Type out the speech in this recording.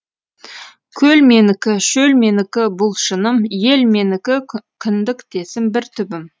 көл менікі шөл менікі бұл шыным ел менікі кіндіктесім бір түбім